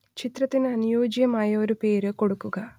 ചിത്രത്തിനു അനുയോജ്യമായ ഒരു പേരു കൊടുക്കുക